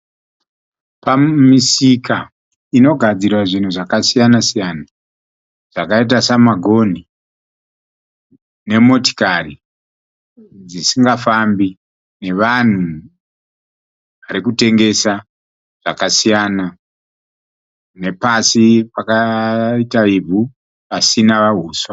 Pamisika inogadzirwa zvinhu zvakasiyana siyana zvakaita semagoni emotokari dzisingafambi nevanhu varikutengesa zvakasiyana nepasi pakaita izvu pasina huswa.